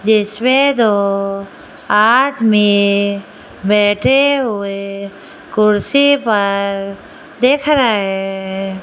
जिसमें दो आदमी बैठे हुए कुर्सी पर देख रहे --